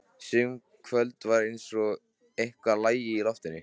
Sum kvöld var eins og eitthvað lægi í loftinu.